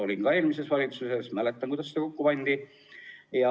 Olin ka ise eelmises valitsuses, mäletan, kuidas eelarvet kokku pandi.